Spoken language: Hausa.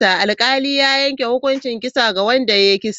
Alkalin ya yanke hukuncin kisa ga wanda ya yi kisan.